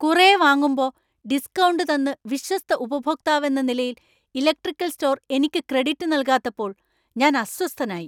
കുറെ വാങ്ങുമ്പോ ഡിസ്ക്കൗണ്ട് തന്ന് വിശ്വസ്ത ഉപഭോക്താവെന്ന നിലയിൽ ഇലക്ട്രിക്കൽ സ്റ്റോർ എനിക്ക് ക്രെഡിറ്റ് നൽകാത്തപ്പോൾ ഞാൻ അസ്വസ്ഥനായി.